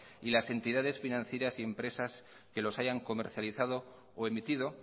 y las entidades financieras impresas que los hayan comercializado o emitido